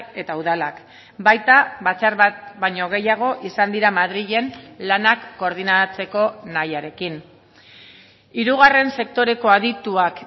eta udalak baita batzar bat baino gehiago izan dira madrilen lanak koordinatzeko nahiarekin hirugarren sektoreko adituak